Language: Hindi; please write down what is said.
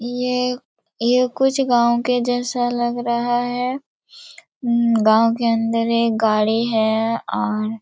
येये कुछ गाँव के जैसा लग रहा है गाँव के अन्दर एक गाड़ी है और--